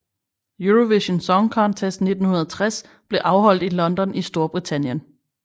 Eurovision Song Contest 1960 blev afholdt i London i Storbritannien